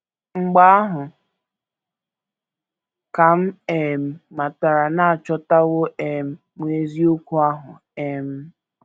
Mgbe ahụ ka m um matara na achọtawo um m eziokwu ahụ um. ”